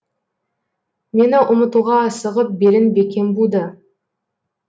мені ұмытуға асығып белін бекем буды